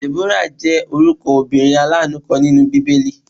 Deborah jẹ́ orúkọ obìnrin alanu kan nínú bíbélì.